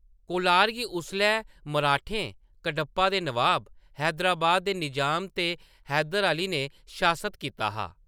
कोलार गी उसलै मराठें, कडप्पा दे नवाब, हैदराबाद दे निजाम ते हैदर अली ने शासत कीता हा।